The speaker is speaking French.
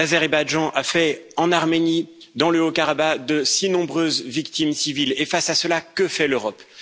L'Azerbaïdjan a fait en Arménie, dans le Haut Karabakh, de si nombreuses victimes civiles face à cela, que fait l'Europe?